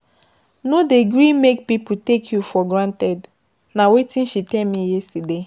No dey gree make pipo take you for granted, na wetin she tell me yesterday.